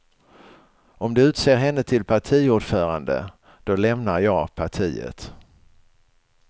Om de utser henne till partiordförande, då lämnar jag partiet.